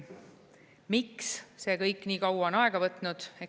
Miks see kõik nii kaua aega võtnud?